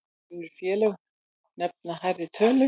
Önnur félög nefna hærri tölu.